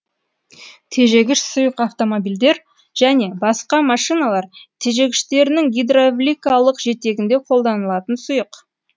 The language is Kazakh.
тежегіш сұйық автомобильдер және басқа машиналар тежегіштерінің гидравликалық жетегінде қолданылатын сұйық